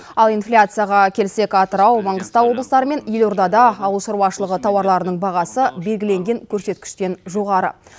ал инфляцияға келсек атырау маңғыстау облыстары мен елордада ауыл шаруашылығы тауарларының бағасы белгіленген көрсеткіштен жоғары